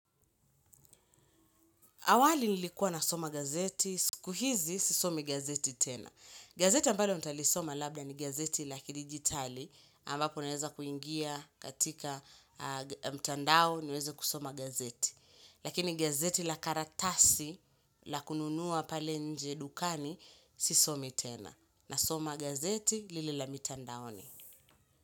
Awali nilikuwa nasoma gazeti, si kuhizi sisomi gazeti tena. Gazeti ambalo nitalisoma labda ni gazeti la kidigitali, ambapo naweza kuingia katika mtandao niweze kusoma gazeti. Lakini gazeti la karatasi la kununua pale nje dukani sisomi tena. Na soma gazeti lile la mitandaoni.